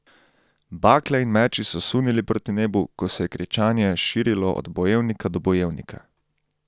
Bakle in meči so sunili proti nebu, ko se je kričanje širilo od bojevnika do bojevnika.